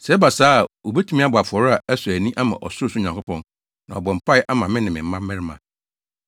Sɛ ɛba saa a, wobetumi abɔ afɔre a ɛsɔ ani ama ɔsorosoro Nyankopɔn, na wɔabɔ mpae ama me ne me mmabarima.